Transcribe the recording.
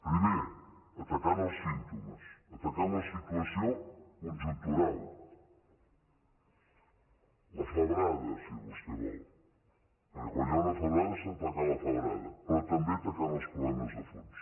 primer atacant els símptomes atacant la situació conjuntural la febrada si vostè vol perquè quan hi ha una febrada s’ha d’atacar la febrada però també atacant els problemes de fons